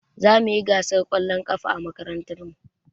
Zamuyi gasar ƙwallon ƙafa a makarantar mu